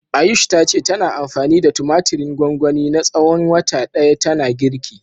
Ayush ta ce tana anfani da tumatirin gwangwani na tsawon wata ɗaya tana girki.